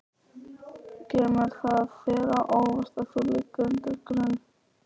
Kemur það þér á óvart að þú liggir undir grun?